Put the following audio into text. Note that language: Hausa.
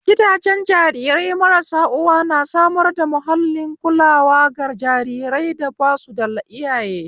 Gidajen jarirai marasa uwa na samar da mahallin kulawa ga jarirai da basuda iyaye